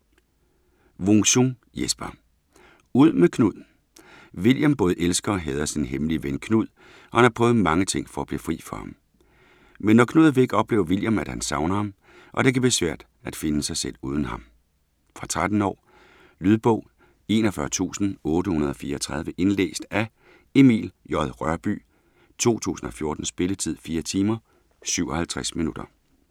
Wung-Sung, Jesper: Ud med Knud William både elsker og hader sin hemmelige ven, Knud, og han har prøvet mange ting for at blive fri for ham. Men når Knud er væk, oplever William, at han savner ham, og at det kan være svært at finde sig selv uden ham. Fra 13 år. Lydbog 41834 Indlæst af Emil J. Rørbye, 2014. Spilletid: 4 timer, 57 minutter.